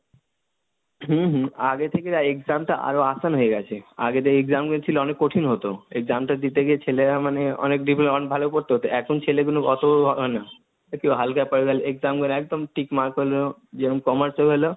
হম হম আগে থেকে Exam টা আরো hindi হয়ে গেছে, আগেতে Exam গুলো ছিল অনেক কঠিন হতো, Exam টা দিতে গিয়ে ছেলেরা মানে অনেক বিভিন্ন অনেক ভালো করতে হতো, এখন ছেলেগুলো অতো হয় না, কেউ হালকা Parvel Exam গুলো একদম Trick Mark হলো যেরম Commerce এও এলো,